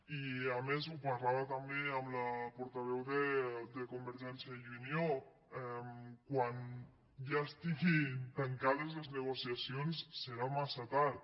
i a més ho parlava també amb la portaveu de convergència i unió quan ja estiguin tancades les negociacions serà massa tard